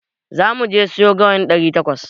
Zamu je mu sayo gawayin ɗari takwas.